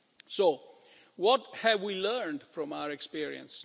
So what have we learned from our experience?